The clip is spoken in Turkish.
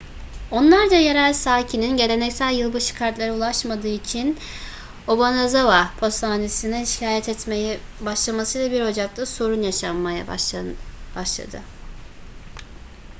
onlarca yerel sakinin geleneksel yılbaşı kartları ulaşmadığı için obanazawa postanesi'ne şikayet etmeye başlamasıyla 1 ocak'ta sorun yaşanmaya başladı